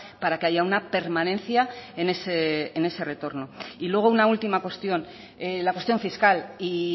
para que haya una permanencia en ese retorno y luego una última cuestión la cuestión fiscal y